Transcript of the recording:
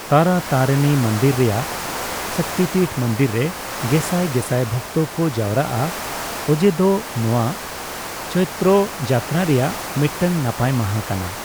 ᱛᱟᱨᱟᱛᱟᱨᱤᱱᱤ ᱢᱚᱱᱫᱤᱨ ᱨᱮᱭᱟᱜ ᱥᱚᱠᱛᱤᱯᱤᱴᱷ ᱢᱚᱱᱫᱤᱨ ᱨᱮ ᱜᱮᱥᱟᱭ ᱜᱮᱥᱟᱭ ᱵᱷᱚᱠᱛᱚ ᱠᱚ ᱡᱟᱣᱨᱟᱜᱼᱟ ᱚᱡᱮ ᱫᱚ ᱱᱚᱣᱟ ᱪᱳᱭᱛᱨᱚ ᱡᱟᱛᱛᱨᱟ ᱨᱮᱭᱟᱜ ᱢᱤᱫᱴᱟᱝ ᱱᱟᱯᱟᱭ ᱢᱟᱦᱟ ᱠᱟᱱᱟ ᱾